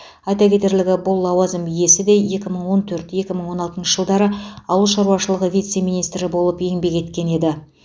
айта кетерлігі бұл лауазым иесі де екі мың он төрт екі мың он алтыншы жылдары ауыл шаруашылығы вице министрі болып еңбек еткен еді